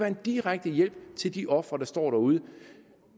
en direkte hjælp til de ofre der står derude